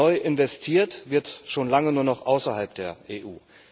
Neu investiert wird schon lange nur noch außerhalb der EU.